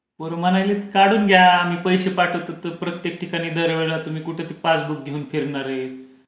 पोरं म्हणाले की काढून घ्या मी पैसे पाठवतो तो प्रत्येक ठिकाणी दरवेळेला तुम्ही कुठे ते पासबुक घेऊन फिरणार आहे.